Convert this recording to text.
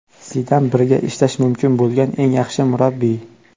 Zidan birga ishlash mumkin bo‘lgan eng yaxshi murabbiy.